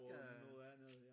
Og noget andet ja